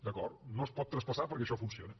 d’acord no es pot traspassar perquè això funciona